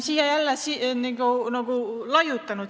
Ei ole ju!